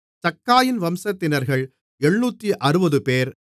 சக்காயின் வம்சத்தினர்கள் 760 பேர்